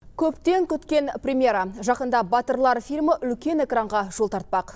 көптен күткен премьера жақында батырлар фильмі үлкен экранға жол тартпақ